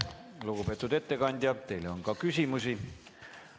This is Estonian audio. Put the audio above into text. Lugupeetud ettekandja, teile on ka küsimusi.